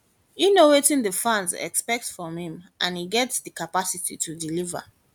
e know wetin know wetin di fans expect from im and e get di capacity to deliver dat